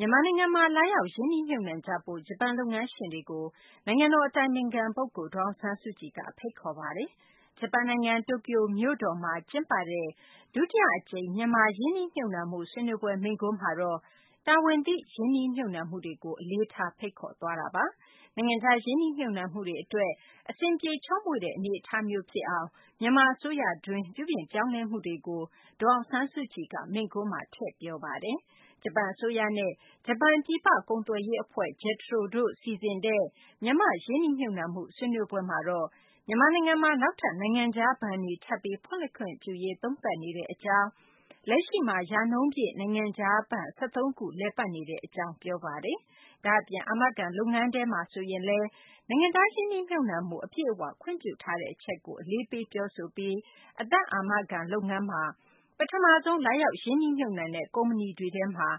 မြန်မာနိုင်ငံမှာ လာရောက် ရင်းနှီးမြှုပ်နှံကြဖို့ ဂျပန် လုပ်ငန်းရှင်တွေကို နိုင်ငံတော် အတိုင်ပင်ခံ ပုဂ္ဂိုလ် ဒေါ်အောင်ဆန်းစုကြည်က ဖိတ်ခေါ်ပါတယ်။ ဂျပန်နိုင်ငံ တိုကျိုမြို့တော်မှာ ကျင်းပတဲ့ ဒုတိယ အကြိမ် မြန်မာ ရင်းနှီးမြှုပ်နှံမှု ဆွေးနွေးပွဲ မိန့်ခွန်းမှာတော့ တာဝန်သိ ရင်းနှီးမြှုပ်နှံမှုတွေကို အလေးထား ဖိတ်ခေါ် သွားတာပါ။ နိုင်ငံခြား ရင်းနှီးမြှုပ်နှံမှုတွေ အတွက် အဆင်ပြေ ချောမွေ့တဲ့ အနေအထားမျိုး ဖြစ်အောင် မြန်မာ အစိုးရတွင်း ပြုပြင်ပြောင်းလဲမှုတွေကိုလည်း ဒေါ်အောင်ဆန်းစုကြည်က မိန့်ခွန်းမှာ ထည့်သွင်း ပြောဆိုပါတယ်။ ဂျပန် အစိုးရနဲ့ ဂျပန် ပြည်ပ ကုန်သွယ်ရေး အဖွဲ့ JETRO တို့ စီစဉ်တဲ့ မြန်မာ့ ရင်းနှီးမြှုပ်နှံမှု ဆွေးနွေးပွဲမှာတော့ မြန်မာနိုင်ငံမှာ နောက်ထပ် နိုင်ငံခြား ဘဏ်တွေ ထပ်ပြီး ဖွင့်လှစ်ခွင့်ပြုရေး သုံးသပ်နေတဲ့ အကြောင်း၊ လက်ရှိမှာ ရာနှုန်းပြည့် နိုင်ငံခြားဘဏ် ၁၃ ခု လည်ပတ်နေကြောင်း ဒေါ်အောင်ဆန်းစုကြည်က ပြောပါတယ်။ ဒါ့အပြင် အာမခံ လုပ်ငန်းထဲမှာဆိုရင်လည်း နိုင်ငံခြား ရင်းနှီးမြှုပ်နှံမှု အပြည့်အ၀ ခွင့်ပြုထားတဲ့ အချက်ကို အလေးပေး ပြောဆိုသွားပါတယ်။ မြန်မာ့ အသက်အာမခံ လုပ်ငန်းမှာ ပထမဆုံး လာရောက် ရင်းနှီးမြှုပ်နှံတဲ့ ကုမ္ပဏီတွေထဲမှာ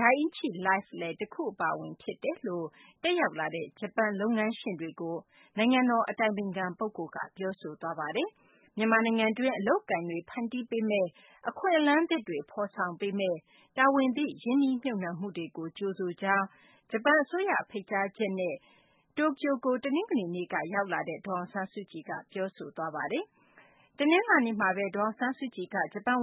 Dai-ichi Life လည်း တခု အပါအဝင် ဖြစ်တယ်လို့ တက်ရောက်လာတဲ့ ဂျပန် လုပ်ငန်းရှင်တွေကို ပြောဆိုသွားပါတယ်။ မြန်မာနိုင်ငံတွင်း အလုပ်အကိုင်တွေ ဖန်တီးပေမးမယ့်၊ အခွင့်အလမ်းသစ်တွေ ဖော်ဆောင်ပေးမယ့် တာဝန်သိ ရင်းနှီးမြှုပ်နှံမှုတွေကို ကြိုဆိုကြောင်းလည်း ဒေါ်အောင်ဆန်းစုကြည်က ပြောဆိုသွားပါတယ်။ ဂျပန် အစိုးရ ဖိတ်ကြားချက်နဲ့ တနင်္ဂနွေနေ့က တိုကျိုကို ရောက်ရှိလာတဲ့ ဒေါ်အောင်ဆန်းစုကြည်က ဂျပန် ဝ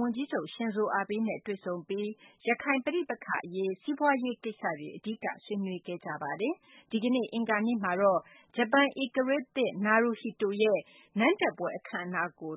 န်ကြီးချုပ် Shinzo Abe နဲ့ တနလာၤနေ့မှာ တွေ့ဆုံပြီး ရခိုင် ပဋိပက္ခ အရေး၊ စီးပွားရေးကိစ္စတွေ အဓိက ဆွေးနွေးခဲ့ကြပါတယ်။ ဒီကနေ့ အင်္ဂါနေ့မှာတော့ ဂျပန် ဧကရာဇ်သစ် Naruhito ရဲ့ အင်္ဂါနေ့ နန်းတက်ပွဲ အခမ်းအနားကို